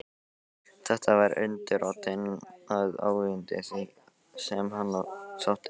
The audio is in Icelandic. Þetta var undirrótin að óyndi því, sem á hann sótti.